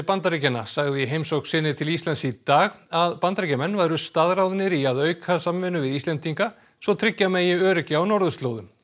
Bandaríkjanna sagði í heimsókn sinni til Íslands í dag að Bandaríkjamenn væru staðráðnir í að auka samvinnu við Íslendinga svo tryggja megi öryggi á norðurslóðum